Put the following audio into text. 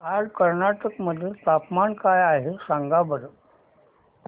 आज कर्नाटक मध्ये तापमान काय आहे सांगा बरं